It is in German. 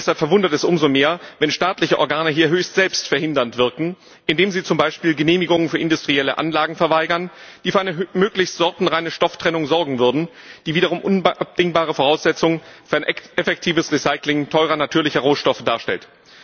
Deshalb verwundert es umso mehr, wenn staatliche Organe hier höchstselbst verhindernd wirken, indem sie zum Beispiel Genehmigungen für industrielle Anlagen verweigern, die für eine möglichst sortenreine Stofftrennung sorgen würden, die wiederum unabdingbare Voraussetzung für ein effektives Recycling teurer natürlicher Rohstoffe darstellt.